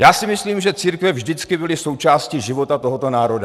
Já si myslím, že církve vždycky byly součástí života tohoto národa.